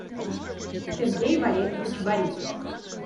сергей валерьевич борисов